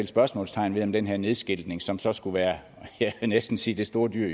spørgsmålstegn ved om den her nedskiltning som så skulle være jeg vil næsten sige det store dyr